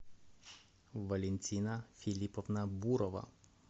валентина филипповна бурова